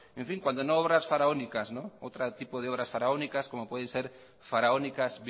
cuando no obras faraónicas otro tipo de obras faraónicas como pueden ser faraónicas